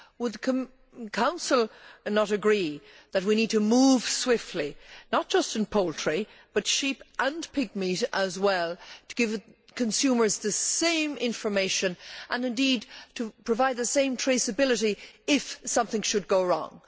Would the Council not agree that we need to move swiftly, not just on poultry but sheep and pigmeat as well, to give consumers the same information and indeed to provide the same traceability if something should go wrong?